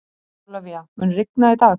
Ólafía, mun rigna í dag?